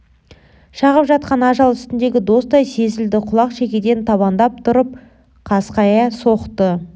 шағып жатқан ажал үстіндегі достай сезілді құлақ шекеден табандап тұрып қасқайта соқты